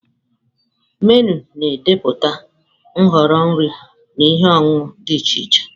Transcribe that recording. Menụ na-ede pụta nhọrọ nri na ihe ọṅụṅụ dị iche Che.